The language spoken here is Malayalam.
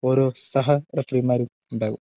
ഓരോ സഹ റഫറിമാരും ഉണ്ടാകും.